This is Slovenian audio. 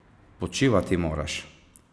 Počivati moraš!